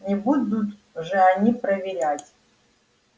не будут же они проверять